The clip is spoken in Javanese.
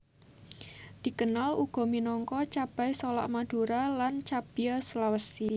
Dikenal uga minangka cabai solak Madura lan cabia Sulawesi